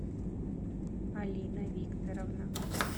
алина викторовна